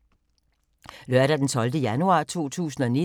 Lørdag d. 12. januar 2019